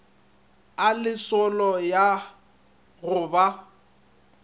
a lesolo ya go ba